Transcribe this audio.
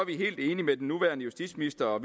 helt enige med den nuværende justitsminister og